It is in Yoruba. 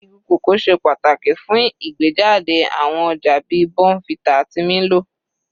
Igi cocoa ṣe pàtàkì fún ìgbéjáde àwọn ọjà bíi bournvita àti milo.